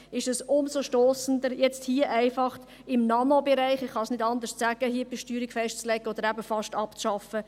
Es ist umso stossender, wenn man hier einfach im Nanobereich – ich kann es nicht anders sagen – eine Besteuerung festlegt oder fast abschafft.